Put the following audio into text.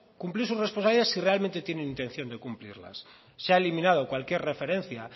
cumplir sus responsabilidades si realmente tienen intención de cumplirlas se ha eliminado cualquier referencia